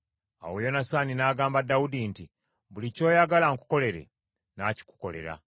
Awo Yonasaani n’agamba Dawudi nti, “Buli ky’oyagala nkukolere, nnaakikukolera.”